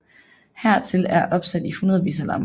Hertil er opsat i hundredvis af lamper